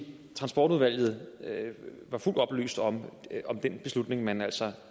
transportudvalget var fuldt oplyst om den beslutning man altså